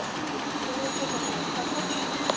Sölvi Tryggvason: Hvað tókstu?